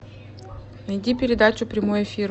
найди передачу прямой эфир